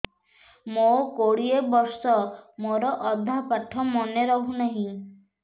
ମୋ କୋଡ଼ିଏ ବର୍ଷ ମୋର ଅଧା ପାଠ ମନେ ରହୁନାହିଁ